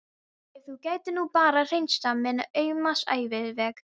Ef þú gætir nú bara hreinsað minn auma æviveg.